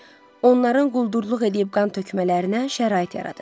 Onların quldurluq eləyib qan tökmələrinə şərait yaradır.